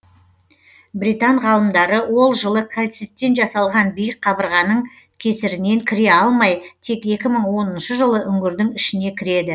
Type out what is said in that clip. британ ғалымдары ол жылы кальциттен жасалған биік қабырғаның кесірінен кіре алмай тек екі мың оныншы жылы үңгірдің ішіне кіреді